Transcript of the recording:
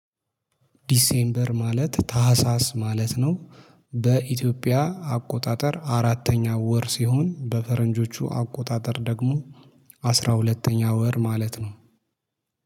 ዲሴምበር ማለት ታህሳስ ማለት ነው። በኢትዮጵያ አቆጣጠር አራተኛ ወር ሲሆን በፈረንጆቹ አቆጣጠር ደግሞ አስራ ሁለተኛ ወር ማለት ነው